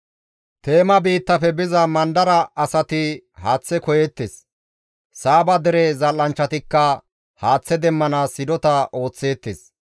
Teema biittafe biza mandara asati haaththe koyeettes; Saaba dere zal7anchchatikka haaththe demmanaas hidota ooththeettes.